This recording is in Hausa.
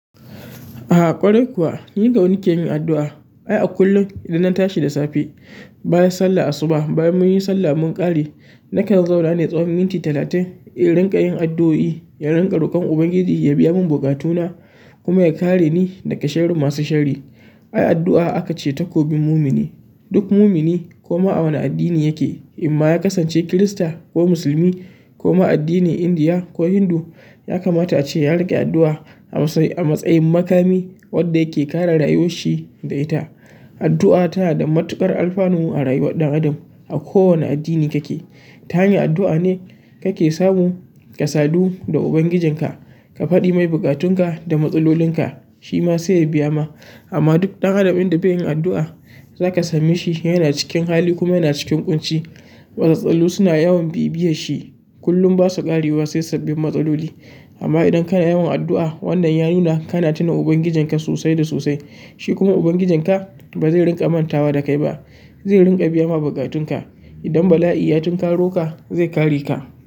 Ah ƙwarai kuwa ni da nake yin addu'a. Ai a kullum idan na tashi da safe, bayan sallah asuba, bayan mun yi sallah mun ƙare, nakan zauna ne tsawon minti talatin, in rinƙa yin addu'o'i, in rinƙa roƙon Ubangiji ya biya mun buƙatuna kuma ya kare ni daga sherrin masu sharri. Ai addu'a aka ce takobin mumini. Duk mumini koma a wane addini yake, in ma ya kasance Kirista ko musulmi ko ma addinin Indiya ko Hindu, ya kamata ace ya riƙe addu'a a matsayin makami wanda yake kare rayuwar shi da ita. Addu'a tana da matuƙar alfanu a rayuwar ɗan adam a ko wane addini kake. Ta hanyar addu'a ne kake samu ka sadu da Ubangijin ka, ka faɗi mai buƙatun ka da matsalolin ka. Shi ma sai ya biya ma. Amma duk ɗan adam inda bai yin addu'a, zaka same shi yana cikin hali kuma yana cikin ƙunci. Matsaloli suna yawan bibiyan shi, kullum ba su ƙarewa sai sabbin matsaloli. Amma idan kana yawan addu'a, wannan ya nuna kana tuna Ubangijin ka sosai da sosai. Shi kuma Ubangijin ka ba zai rinƙa mantawa da kai ba. Zai rinƙa biya ma bukatun ka. Idan bala'i ya tunkaro ka, zai kare ka.